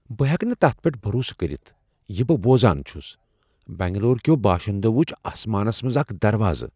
بہٕ ہیٚکہٕ نہٕ تتھ پیٹھ بروسہٕ كرِتھ یہِ بہٕ بوزان چھٗس ! بنگلور كیو باشندو وٗچھ آسمانس منز اكھ دروازٕ ۔